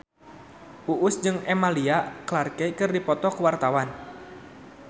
Uus jeung Emilia Clarke keur dipoto ku wartawan